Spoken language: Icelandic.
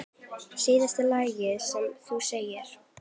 Síðasta lygi sem þú sagðir?